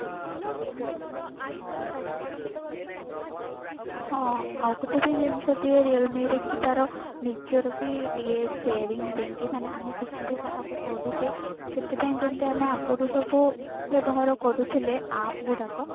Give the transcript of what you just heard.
ହଁ ଆଉ ଗୋଟେ ବି ଜିନିଷ ଦିଏ realme ରେ କି ତାର ନିଜର ବି ଦିଏ sharing ପାଇଁ କି ମାନେ ଆମେ କିଛି ବି କାହାକୁ କରୁଛେ ସେଥିପାଇଁ ଯେମତି ଆମେ ଆଗରୁ ସବୁ ବ୍ୟବହାର କରୁଥିଲେ app ଗୁଡାକ